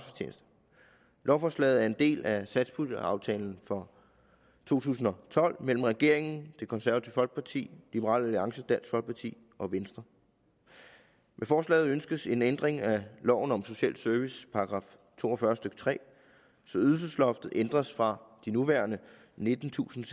lovforslaget er en del af satspuljeaftalen for to tusind og tolv mellem regeringen det konservative folkeparti liberal alliance dansk folkeparti og venstre med forslaget ønskes en ændring af loven om social service § to og fyrre stykke tre så ydelsesloftet ændres fra de nuværende nittentusinde